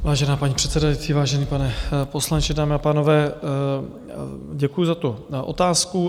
Vážená paní předsedající, vážený pane poslanče, dámy a pánové, děkuji za tu otázku.